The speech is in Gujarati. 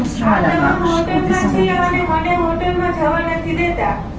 આ તમામ હોટલમાં છે અને મને હોટલમાં જવા નથી દેતા